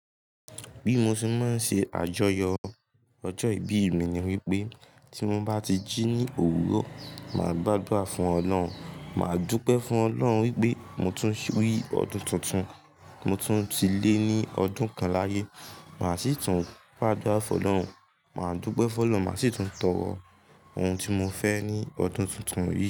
Bí mo ṣe mọ ń ṣe àjọyọ̀ ọjọ́ ìbí mi ni wípé tí mo bá ti jí ní òwúrọ̀, máa gba àdúrà fún Ọlọ́hun, máa dúpẹ́ fún Ọlọ́hun wípé mo tún rí ọdún tuntun, mo tún ti lé ní ọdún kan láyé, máa sì tún gbádúrà fún Ọlọ́run, máa dúpẹ́ fún Ọlọ́run, máa sì tún tọrọ ohun tí mo fẹ́ ní ọdún tuntun yìí.